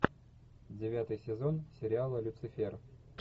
девятый сезон сериала люцифер